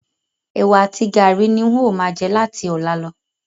Ẹ̀wá àti gàárì ni n o máa jẹ láti ọ̀la lọ